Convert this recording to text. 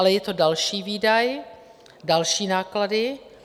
Ale je to další výdaj, další náklady.